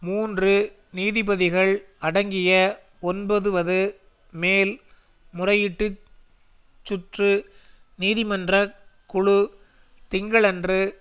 மூன்று நீதிபதிகள் அடங்கிய ஒன்பதுவது மேல் முறையீட்டுச் சுற்று நீதிமன்றக் குழு திங்களன்று